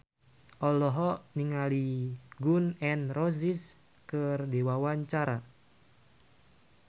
Intan Ayu Purnama olohok ningali Gun N Roses keur diwawancara